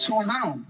Suur tänu!